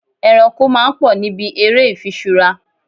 Ẹranko máa ń pò níbi ère ifiṣura.